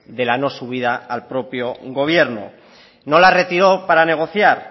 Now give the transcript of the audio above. de la no subida al propio gobierno no la retiró para negociar